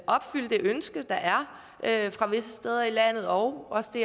opfylde det ønske der er visse steder i landet og også det